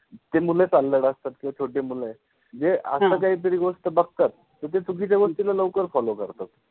जे असतात जे छोटे मुलं ए. जे असं काहीतरी गोष्ट बघतात म ते चुकीच्या गोष्टीला लवकर follow करतात.